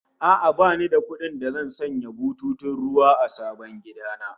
A'a, bani da kuɗin da zan sanya bututun ruwa a sabon gida na